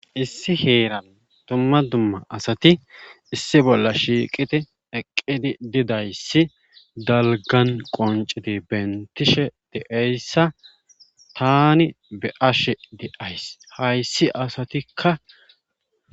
Issi heeran tumma dumma asati issi bolla shiiqiti eqqidi didayssi dalgan qonciti bentishe deeyssa tani be7ashe di7ays hayssi asatikka